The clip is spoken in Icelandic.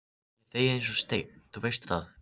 Ég þegi eins og steinn, þú veist það.